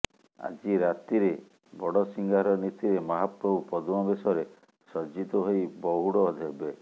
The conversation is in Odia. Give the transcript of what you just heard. ଆଜି ରାତିରେ ବଡସିଂହାର ନୀତିରେ ମହାପ୍ରଭୂ ପଦ୍ମବେଶରେ ସଜ୍ଜିତ ହୋଇ ପହୁଡ ହେବେ